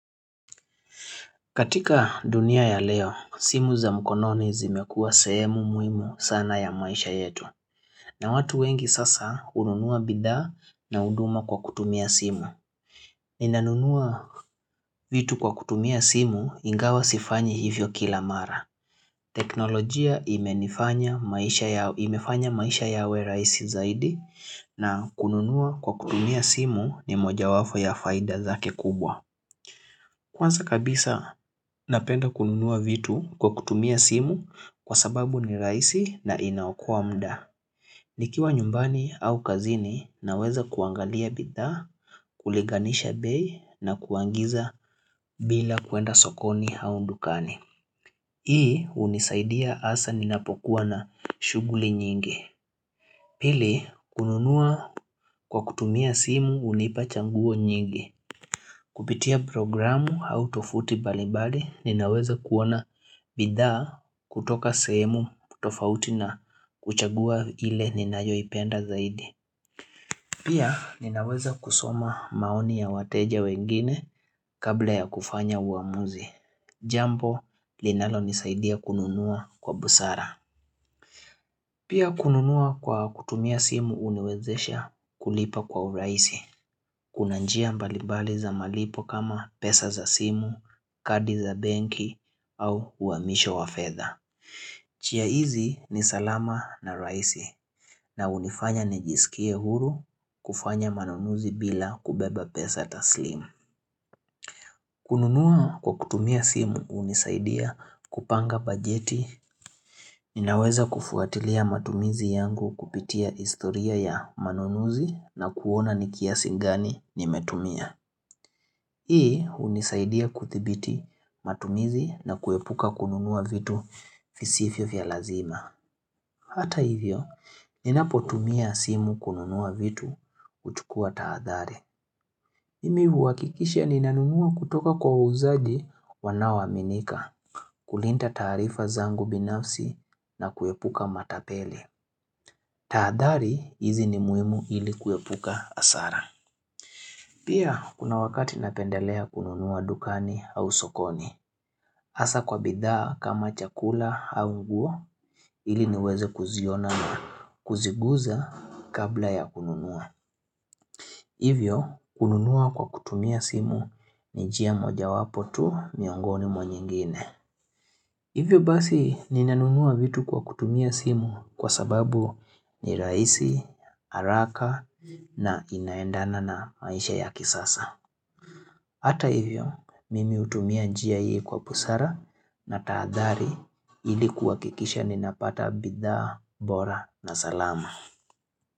Katika dunia ya leo, simu za mkononi zimekua sehemu muhimu sana ya maisha yetu. Na watu wengi sasa hununua bidhaa na huduma kwa kutumia simu. Ninanunua vitu kwa kutumia simu ingawa sifanyi hivyo kila mara. Teknolojia imenifanya maisha imefanya maisha yawe rahisi zaidi na kununua kwa kutumia simu ni mojawapo ya faida zake kubwa. Kwanza kabisa, napenda kununua vitu kwa kutumia simu kwa sababu ni rahisi na inaokoa muda. Nikiwa nyumbani au kazini naweza kuangalia bidhaa, kulinganisha bei na kuangiza bila kuenda sokoni au dukani. Hii hunisaidia hasa ninapokuwa na shughuli nyingi. Pili kununua kwa kutumia simu hunipa chaguo nyingi. Kupitia programu au tofuti mbalimbali ninaweza kuona bidhaa kutoka sehemu tofauti na kuchagua ile ninayoipenda zaidi. Pia ninaweza kusoma maoni ya wateja wengine kabla ya kufanya uamuzi. Jambo linalo nisaidia kununua kwa busara. Pia kununua kwa kutumia simu huniwezesha kulipa kwa urahisi. Kuna njia mbalibali za malipo kama pesa za simu, kadi za benki au uamisho wa fedha. Njia hizi ni salama na rahisi na hunifanya nijisikie huru, kufanya manunuzi bila kubeba pesa taslimu. Kununua kwa kutumia simu hunisaidia kupanga bajeti. Ninaweza kufuatilia matumizi yangu kupitia historia ya manunuzi na kuona ni kiasi gani nimetumia. Hii hunisaidia kuthibiti matumizi na kuepuka kununua vitu visivyo vya lazima. Hata hivyo, ninapotumia simu kununua vitu huchukua taadhari. Mimi huhakikisha ninanunua kutoka kwa wauzaji wanao aminika, kulinda tarifa zangu binafsi na kuepuka matapeli. Taadhari hizi ni muimu ili kuepuka hasara. Pia kuna wakati napendelea kununua dukani au sokoni. Hasa kwa bidhaa kama chakula au nguo ili niweze kuziona na kuziguza kabla ya kununua. Hivyo kununua kwa kutumia simu ni njia moja mojawapo tu miongoni mwa nyingine. Hivyo basi ninanunua vitu kwa kutumia simu kwa sababu ni rahisi, haraka na inaendana na maisha ya kisasa. Hata hivyo, mimi hutumia njia hii kwa busara na taadhari ili kuhakikisha ninapata bidhaa, bora na salama.